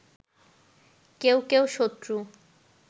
কেউ কেউ শত্রু